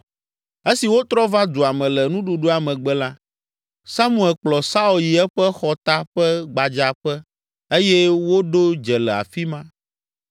Esi wotrɔ va dua me le nuɖuɖua megbe la, Samuel kplɔ Saul yi eƒe xɔta ƒe gbadzaƒe eye woɖo dze le afi ma.